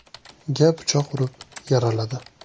ga pichoq urib, yaraladi.